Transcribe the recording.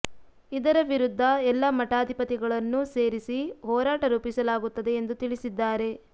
ಇದರ ವಿರುದ್ಧ ಎಲ್ಲ ಮಠಾಧಿಪತಿಗಳನ್ನು ಸೇರಿಸಿ ಹೋರಾಟ ರೂಪಿಸಲಾಗುತ್ತದೆ ಎಂದು ತಿಳಿಸಿದ್ದಾರೆ